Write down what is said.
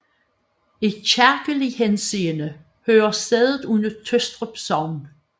I kirkelig henseende hører stedet under Tøstrup Sogn